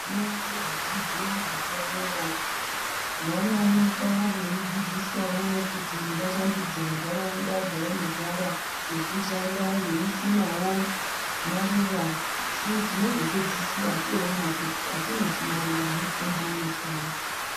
Vana vezvidzidzo zvepadera vanoonekwa veidzidziswawo kuti vashambidze ntaraunda dzavanogara ngekushanda veisimawo maruwa asi tinozopedzisira toona kuti atinoti maruwa mitombo yechiantu.